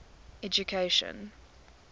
education